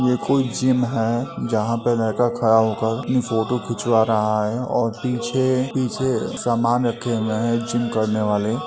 यह कोई जिम है। जहाँ पे लड़का खड़ा होकर अपनी फोटो खिंचवा रहा है और पीछे पीछे सामान रखे हुए हैं जिम करने वाले।